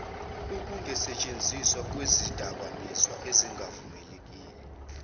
ukungasentshenziswa kwezidakamizwa ezingavunyelwe